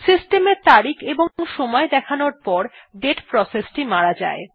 system এর তারিখ এবং সময় দেখানোর পর দাতে প্রসেসটি মারা যায়